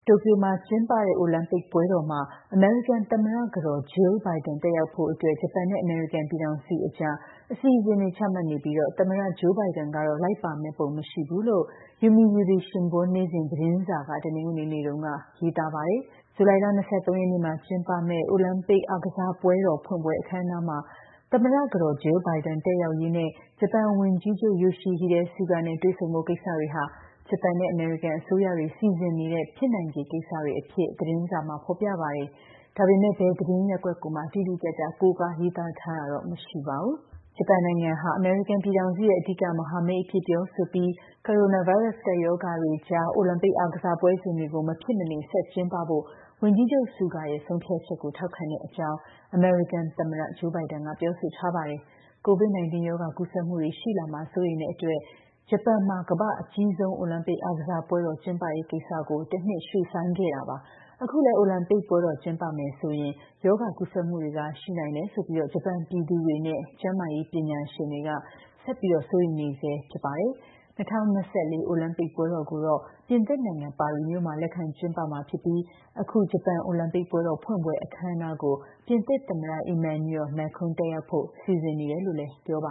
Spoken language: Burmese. တိုကျိုမှာကျင်းပတဲ့ အိုလံပစ်ပွဲတော်မှာ အမေရိကန်သမ္မတကတော် Jill Biden တက်ရောက်ဖို့အတွက် ဂျပန်နဲ့ အမေရိကန်ပြည်ထောင်စုအကြား အစီအစဉ်တွေ ချမှတ်နေပြီး သမ္မတ Joe Biden တော့ လိုက်ပါမယ့်ပုံ မရှိဘူးလို့ Yomiuri Shimbun နေ့စဉ်သတင်းစာက တနင်္ဂနွေနေ့မှာ ရေးပါတယ်။ ဇူလိုင်လ ၂၃ ရက် ကျင်းပမယ့် အိုလံပစ်ဖွင့်ပွဲ အခမ်းအနားမှာ သမ္မတကတော် Jill Biden တက်ရောက်ရေးနဲ့ ဂျပန်ဝန်ကြီးချုပ် Yoshihide Suga နဲ့ တွေ့ဆုံဖို့ ကိစ္စတွေဟာ ဂျပန်နဲ့ အမေရိကန်အစိုးရတွေ စီစဉ်နေတဲ့ ဖြစ်နိုင်ခြေကိစ္စတွေအဖြစ် သတင်းစာမှာ ဖော်ပြပါတယ်။ ဒါပေမယ့် ဘယ်သတင်းရပ်ကွက်ကိုမှ တိတိကျကျ ကိုးကားရေးသားထားတာတော့ မရှိပါဘူး။ ဂျပန်ဟာ အမေရိကန်ပြည်ထောင်စုရဲ့ အဓိကမဟာမိတ်အဖြစ် ပြောဆိုပြီး ကိုရိုနာဗိုင်းရပ်စ် ကပ်ရောဂါတွေအကြား မဖြစ်မနေ ဆက်ကျင်းပဖို့ ဝန်ကြီးချုပ် Suga ရဲ့ ဆုံးဖြတ်ချက်ကို ထောက်ခံတဲ့အကြောင်း အမေရိကန်သမ္မတ Joe Biden က ပြောဆိုထားပါတယ်။ COVID-19 ရောဂါ ကူးစက်မှုတွေရှိလာမှာ စိုးရိမ်တဲ့အတွက် ဂျပန်မှာ ကမ္ဘာ့အကြီးဆုံး အိုလံပစ်အားကစားပွဲတော် ကျင်းပရေးကိစ္စ တနှစ်ရွှေ့ဆိုင်းထားခဲ့တာပါ။ အခုလည်း အိုလံပစ်ပွဲ ကျင်းပမယ်ဆိုရင် ရောဂါကူးစက်မှုတွေ ရှိနိုင်တယ်ဆိုပြီး ဂျပန်ပြည်သူတွေနဲ့ ကျန်းမာရေးပညာရှင်တွေ ဆက်လက် စိုးရိမ်နေဆဲ ဖြစ်ပါတယ်။ ၂၀၂၄ အိုလံပစ်ပွဲတော်ကိုတော့ ပြင်သစ်နိုင်ငံ ပါရီမြို့မှာ လက်ခံကျင်းပမှာဖြစ်ပြီး အခု ဂျပန်အိုလံပစ်ပွဲတော် ဖွင့်ပွဲအခမ်းအနားကို ပြင်သစ်သမ္မတ Emmanuel Macron တက်ရောက်ဖို့ စီစဉ်နေတယ်လို့ ပြောပ